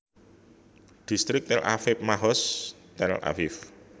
Distrik Tel Aviv Mahoz Tel Aviv